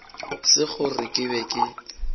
se gore ke be ke